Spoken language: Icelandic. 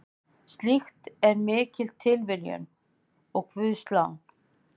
Slíkt er mikil tilviljun og guðslán.